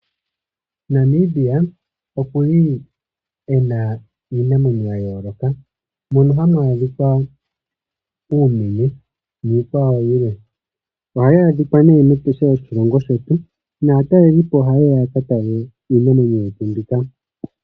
Namibia oku li ena iinamwenyo ya yooloka mono hamu adhikwa uumenye niikwawo yilwe. Ohayi adhikwa nee mEtosha lyoshilongo shetu, naatalelipo ohaye ya ya ka tale iinamwenyo yetu mbika.